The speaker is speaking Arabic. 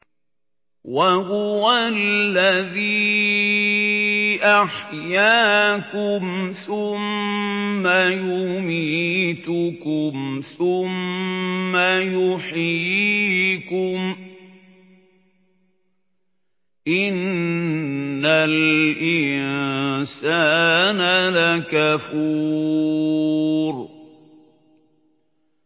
وَهُوَ الَّذِي أَحْيَاكُمْ ثُمَّ يُمِيتُكُمْ ثُمَّ يُحْيِيكُمْ ۗ إِنَّ الْإِنسَانَ لَكَفُورٌ